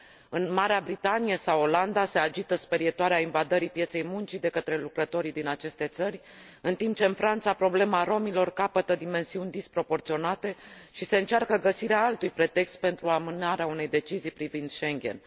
În Marea Britanie sau Olanda se agită sperietoarea invadării pieței muncii de către lucrătorii din aceste țări, în timp ce în Franța problema romilor capătă dimensiuni disproporționate și se încearcă găsirea altui pretext pentru amânarea unei decizii privind Schengen.